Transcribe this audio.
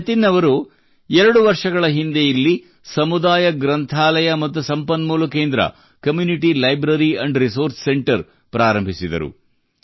ಜತಿನ್ ಅವರು ಎರಡು ವರ್ಷಗಳ ಹಿಂದೆ ಇಲ್ಲಿ ಸಮುದಾಯ ಗ್ರಂಥಾಲಯ ಮತ್ತು ಸಂಪನ್ಮೂಲ ಕೇಂದ್ರ community library and resource centre ಪ್ರಾರಂಭಿಸಿದರು